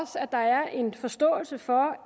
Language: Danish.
at der er en forståelse for